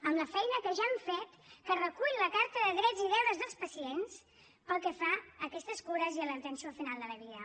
amb al feina que ja hem fet que recull la carta de drets i deures dels pacients pel que fa a aquestes cures i a l’atenció al final de la vida